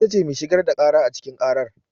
Ita ce mai shigar da ƙara a cikin ƙarar.